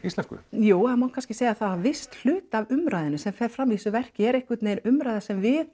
íslensku jú það má kannski segja það að viss hluti af umræðunni sem fer fram í þessu verki er einhvern veginn umræða sem við